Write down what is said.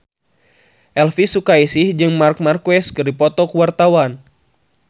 Elvy Sukaesih jeung Marc Marquez keur dipoto ku wartawan